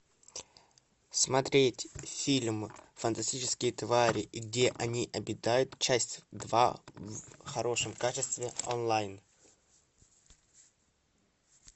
смотреть фильм фантастические твари и где они обитают часть два в хорошем качестве онлайн